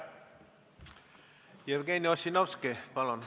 Jevgeni Ossinovski, palun!